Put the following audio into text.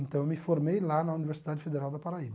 Então, eu me formei lá na Universidade Federal da Paraíba.